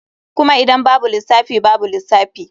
Kuma idan babu lissafi babu lissafi.